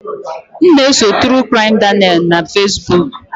M na-eso True Crime Daniel na Fesbuk